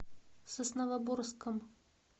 сосновоборском